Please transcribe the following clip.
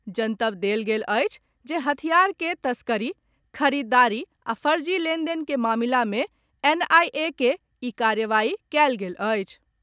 जनतब देल गेल अछि जे हथियार के तस्करी, खरीददारी आ फर्जी लेनदेन के मामिला मे एनआईए के ई कार्रवाई कयल गेल अछि।